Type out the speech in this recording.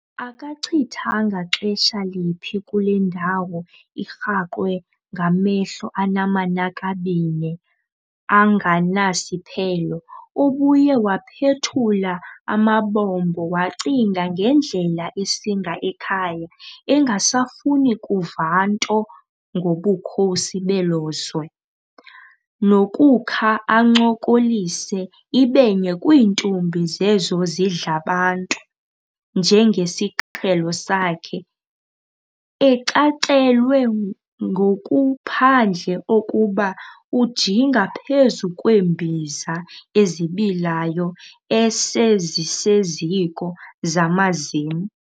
Akachithanga xesha liphi kule ndawo, irhaqwe ngamehlo anamanakabine anganasiphelo, ubuye waphethula amabombo wacinga ngendlela esinga ekhaya, engasafuni kuva nto ngobukhosi belo zwe, nokukha ancokolise ibe nye kwiintombi zezo zidlabantu njengesiqhelo sakhe, ecacelwe ngokuphandle okoba ujinga phezu kweembiza ezibilayo ese ziseziko zamazim.